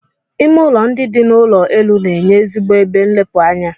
Ime ụlọ ndị dị n'ụlọ elu na-enye ezigbo ebe nlepụ anya.